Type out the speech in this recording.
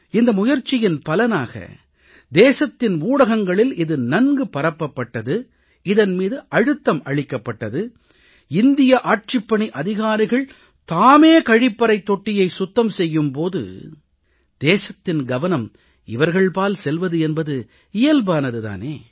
இந்த முயற்சியின் பலனாக தேசத்தின் ஊடகங்களில் இது நன்கு பரப்பப்பட்டது இதன் மீது அழுத்தம் அளிக்கப்பட்டது இந்திய ஆட்சிப்பணி அதிகாரிகள் தாமே கழிப்பறைத் தொட்டியை சுத்தம் செய்யும் போது தேசத்தின் கவனம் அவர்கள்பால் செல்வது என்பது இயல்பானது தானே